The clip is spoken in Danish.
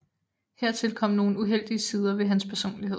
Hertil kom nogle uheldige sider ved hans personlighed